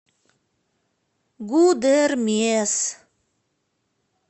гудермес